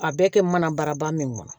A bɛɛ kɛ mana bara ba min kɔnɔ